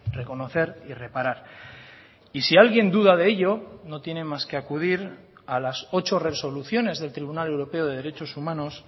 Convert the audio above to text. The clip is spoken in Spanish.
reconocer y reparar y si alguien duda de ello no tiene más que acudir a las ocho resoluciones del tribunal europeo de derechos humanos